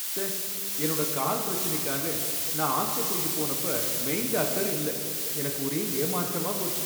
ச்சே! என்னோட கால் பிரச்சினைக்காக நான் ஆஸ்பத்திரிக்கு போனப்ப மெயின் டாக்டர் இல்ல, எனக்கு ஒரே ஏமாற்றமா போச்சு.